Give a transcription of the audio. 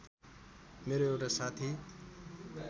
मेरो एउटा साथी